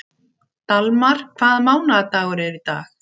Dalmar, hvaða mánaðardagur er í dag?